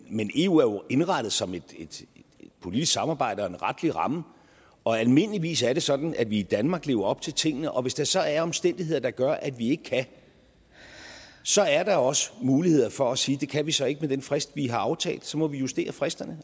eu er jo indrettet som et politisk samarbejde og en retlig ramme og almindeligvis er det sådan at vi i danmark lever op til tingene og hvis der så er omstændigheder der gør at vi ikke kan så er der også mulighed for at sige at det kan vi så ikke med den frist vi har aftalt og så må vi justere fristen